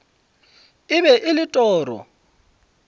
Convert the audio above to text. e be e le toro